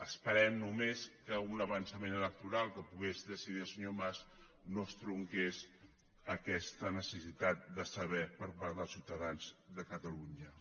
esperem només que un avançament electoral que pogués decidir el senyor mas no estronqués aquesta necessitat de saber per part dels ciutadans de catalunya